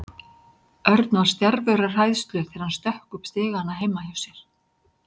Örn var stjarfur af hræðslu þegar hann stökk upp stigana heima hjá sér.